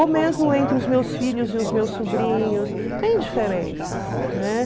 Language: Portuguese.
Ou mesmo entre os meus filhos e os meus sobrinhos, tem diferenças, né?